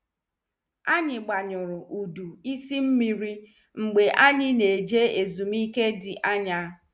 Anyị gbanyuru udo isi mmiri mgbe anyị na- eje ezumike dị anya.